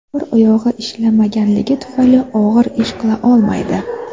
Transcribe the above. Bir oyog‘i ishlamaganligi tufayli og‘ir ish qila olmaydi.